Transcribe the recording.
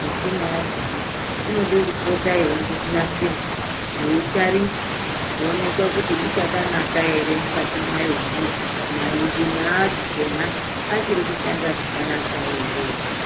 michina yakona inode kupote yeibhonasirwa yeitariswa kuonekwe kuti ichakanaka ere mukatimayomo maenjini achona achiri kushanda zvakanaka ere.